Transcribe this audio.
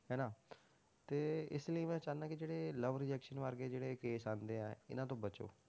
ਹਨਾ ਤੇ ਇਸ ਲਈ ਮੈਂ ਚਾਹੁਨਾ ਕਿ ਜਿਹੜੇ love rejection ਵਰਗੇ ਜਿਹੜੇ case ਆਉਂਦੇ ਆ ਇਹਨਾਂ ਤੋਂ ਬਚੋ।